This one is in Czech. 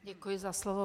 Děkuji za slovo.